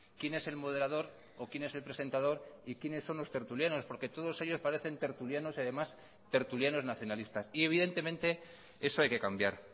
quién es el moderador o quién es el presentador y quiénes son los tertulianos porque todos ellos parecen tertulianos además tertulianos nacionalistas y evidentemente eso hay que cambiar